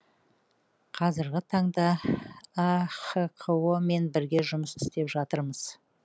қазіргі таңда ахқо мен бірге жұмыс істеп жатырмыз